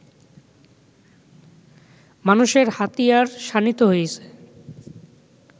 মানুষের হাতিয়ার শানিত হয়েছে